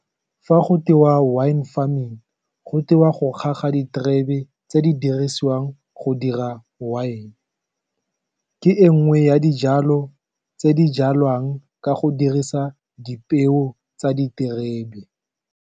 Fa go tewa wine farming, go tewa go ga ga diterebe tse di dirisiwang go dira wine-e ke e nngwe ya dijalo tse di jalwang ka go dirisa dipeo tsa diterebe.